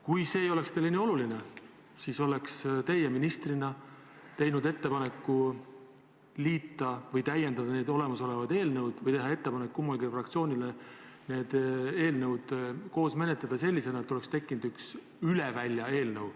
Kui see ei oleks teile nii oluline, siis oleks teie ministrina teinud ettepaneku liita need olemasolevad eelnõud või täiendada neid või teha ettepanek mõlemale fraktsioonile neid eelnõusid koos menetleda selliselt, et oleks tekkinud üks üle välja eelnõu.